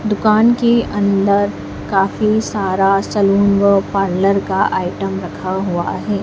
दुकान के अंदर काफी सारा सलून व पार्लर का आइटम रखा हुआ है।